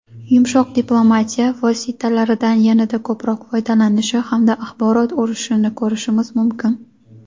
yumshoq diplomatiya vositalaridan yanada ko‘proq foydalanishi hamda axborot urushini ko‘rishimiz mumkin.